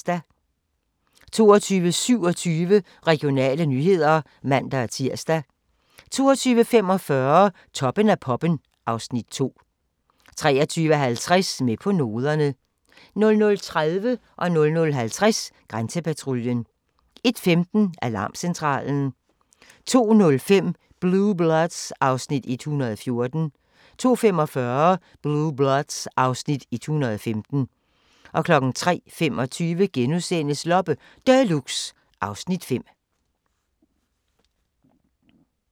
22:27: Regionale nyheder (man-tir) 22:45: Toppen af poppen (Afs. 2) 23:50: Med på noderne 00:30: Grænsepatruljen 00:50: Grænsepatruljen 01:15: Alarmcentralen 02:05: Blue Bloods (Afs. 114) 02:45: Blue Bloods (Afs. 115) 03:25: Loppe Deluxe (Afs. 5)*